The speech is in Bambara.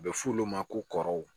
A bɛ f'olu ma ko kɔrɔw